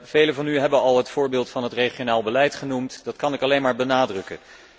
Velen van u hebben al het voorbeeld van het regionaal beleid genoemd, dat kan ik alleen maar benadrukken.